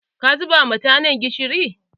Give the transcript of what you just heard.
Ka zuba ma tanan gishiri.